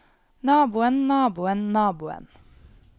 naboen naboen naboen